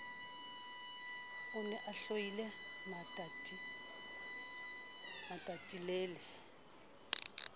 o ne a tlohile matatilele